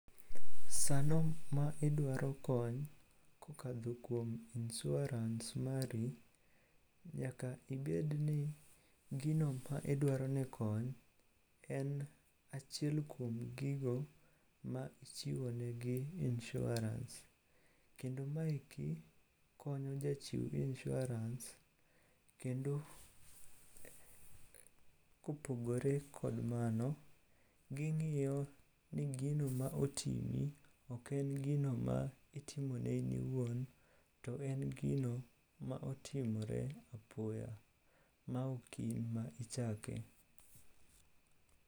Sano ma idwaro kony kokadho kuom insuarans mari, nyaka ibedni gino ma idwaro ne kony en achiel kuom gigo ma ichiwonegi insuarans. Kendo maeki konyo jachiw insuarans kendo kopogore kod mano, ging'iyo ni gino ma otimi ok en gino ma itimone in iwuon to en gino ma otimore apoya ma ok in ma ichake.